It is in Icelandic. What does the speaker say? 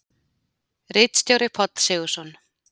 Ritstjóri Páll Sigurðsson.